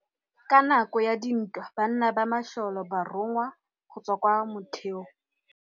Ka nakô ya dintwa banna ba masole ba rongwa go tswa kwa mothêô.